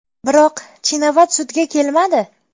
Biroq Chinavat sudga kelmadi.